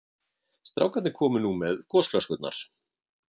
Strákarnir komu nú með gosflöskurnar.